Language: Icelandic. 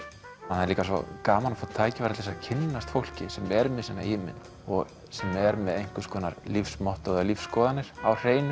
það er líka svo gaman að fá tækifæri til að kynnast fólki sem er með sína ímynd og sem er með einhvers konar lífsmottó eða lífsskoðanir á hreinu